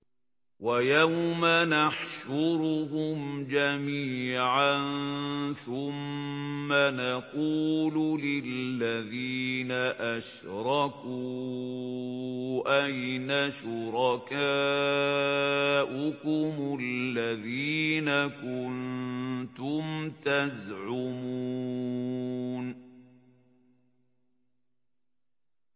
وَيَوْمَ نَحْشُرُهُمْ جَمِيعًا ثُمَّ نَقُولُ لِلَّذِينَ أَشْرَكُوا أَيْنَ شُرَكَاؤُكُمُ الَّذِينَ كُنتُمْ تَزْعُمُونَ